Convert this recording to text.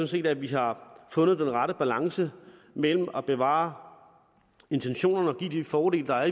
set at vi har fundet den rette balance mellem at bevare intentionerne og give de fordele der er